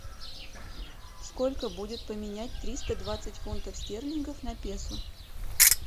сколько будет поменять триста двадцать фунтов стерлингов на песо